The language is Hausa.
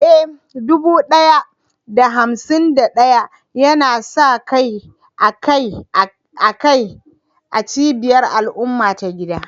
Eh, dubu ɗaya da hamsin da ɗaya yana sa kai akai-akai a cibiyar al'umma ta gida.